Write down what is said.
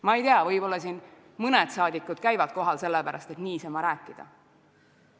Ma ei tea, võib-olla siin mõni rahvasaadik käib kohal sellepärast, et niisama rääkida.